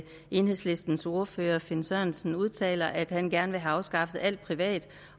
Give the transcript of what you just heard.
enhedslistens ordfører herre finn sørensen udtaler at han gerne vil have afskaffet alt privat